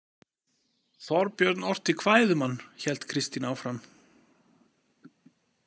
Þorbjörn orti kvæði um hann, hélt Kristín áfram.